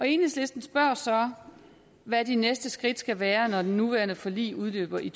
enhedslisten spørger så hvad de næste skridt skal være når det nuværende forlig udløber i